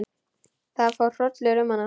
Það fór hrollur um hana.